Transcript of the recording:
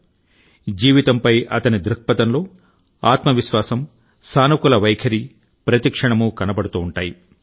అతని జీవితంలో జీవితంపై అతని దృక్పథంలో ఆత్మ విశ్వాసం సానుకూల వైఖరి ప్రతి క్షణమూ కనబడుతూ ఉంటాయి